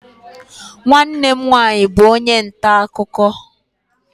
Nwanne m nwanyị bụ onye nta akụkọ.